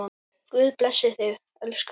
Guð blessi þig, elskan.